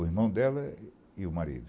O irmão dela e o marido.